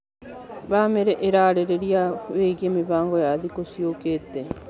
Bamĩrĩ ĩrarĩrĩria wĩgiĩ mĩbango ya thikũ ciokĩte.